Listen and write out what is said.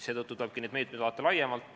Seetõttu tuleb neid meetmeid vaadata laiemalt.